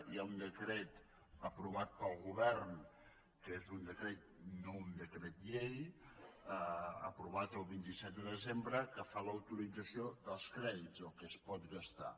hi ha un decret aprovat pel govern que és un decret no un decret llei aprovat el vint set de desembre que fa l’autorització dels crèdits del que es pot gastar